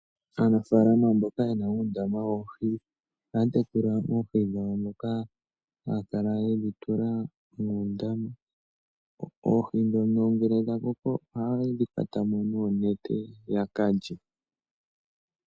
Aanafalama mboka yena undama woohi , ohatekula oohi dhawo dhoka hakala yedhitula mundama oohi dhono ngele dhakoko oha yedhi kwatamo nonete yakalye.